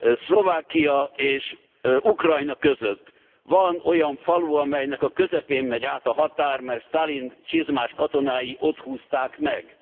Szlovákia és Ukrajna között van olyan falu, amelynek a közepén megy át a határ, mert Sztálin csizmás katonái ott húzták meg.